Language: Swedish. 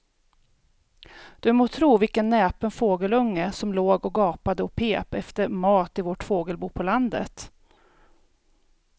Du må tro vilken näpen fågelunge som låg och gapade och pep efter mat i vårt fågelbo på landet.